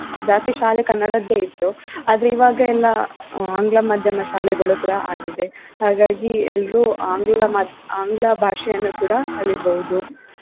ಜಾಸ್ತಿ ಶಾಲೆ ಕನ್ನಡದ್ದೆ ಇತ್ತು. ಆದ್ರೆ ಇವಾಗ ಎಲ್ಲಾ ಆಂಗ್ಲ ಮಾದ್ಯಮ ಶಾಲೆಗಳು ಕೂಡಾ ಆಗಿದೆ ಹಾಗಾಗಿ ಎಲ್ರೂ ಆಂಗ್ಲ ಮಾದ್ಯ~ ಆಂಗ್ಲ ಭಾಷೆಯನ್ನೂ ಕೂಡಾ ಕಲಿಬೋದು.